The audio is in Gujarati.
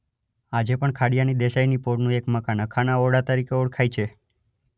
આજે પણ ખાડિયાની દેસાઇની પોળનું એક મકાન અખાના ઓરડા તરીકે ઓળખાય છે.